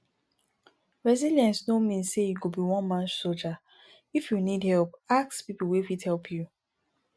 resillience no mean sey you go be one man soldier if you need help ask pipo wey fit help you